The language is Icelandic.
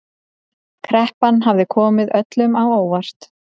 Kreppan hafi komið öllum á óvart